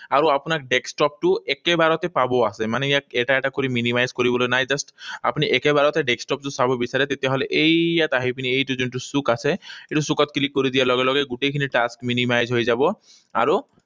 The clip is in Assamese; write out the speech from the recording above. আৰু আপোনাৰ desktop টো একেবাৰতে চাব আছে। মানে ইয়াক এটা এটা কৰি minimize কৰিবলৈ নাই। Just আপুনি একেবাৰতে desktop টো চাব বিচাৰে, তেতিয়াহলে এই ইয়াত আহি পিনি এইটো যোনটো চুক আছে, এইটো চুকত click কৰি দিয়াৰ লগে লগে গোটেইখিনি task minimize হৈ যাব। আৰু